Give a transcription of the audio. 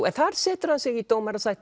en þar setur hann sig í dómarasæti